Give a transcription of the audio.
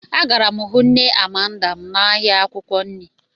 Agara m hụ nne Amanda m n'ahịa akwụkwọ nri.